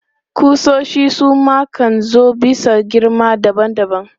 Ƙusoshi su ma kan zo bisa girma daban daban.